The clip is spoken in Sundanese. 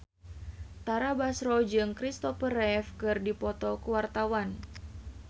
Tara Basro jeung Christopher Reeve keur dipoto ku wartawan